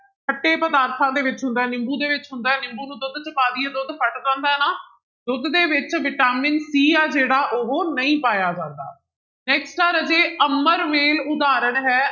ਖੱਟੇ ਪਦਾਰਥਾਂ ਦੇ ਵਿੱਚ ਹੁੰਦਾ ਹੈ ਨਿੰਬੂ ਦੇ ਵਿੱਚ ਹੁੰਦਾ ਹੈ ਨਿੰਬੂ ਨੂੰ ਦੁੱਧ ਵਿੱਚ ਪਾ ਦੇਈਏ ਦੁੱਧ ਫਟ ਜਾਂਦਾ ਨਾ, ਦੁੱਧ ਦੇ ਵਿੱਚ ਵਿਟਾਮਿਨ c ਹੈ ਜਿਹੜਾ ਉਹ ਨਹੀਂ ਪਾਇਆ ਜਾਂਦਾ next ਆ ਰਾਜੇ ਅਮਰਵੇਲ ਉਦਾਹਰਨ ਹੈ